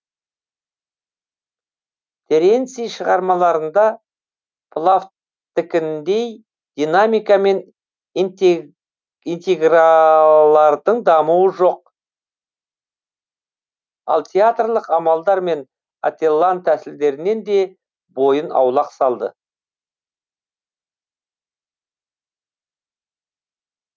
теренций шығармаларында плавттікіндей динамика мен интригалардың дамуы жоқ ол театрлық амалдар мен ателлан тәсілдерінен де бойын аулақ салды